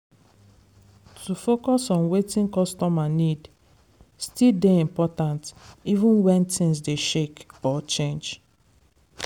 to focus on wetin costumer need still dey important even wen things dey shake or change.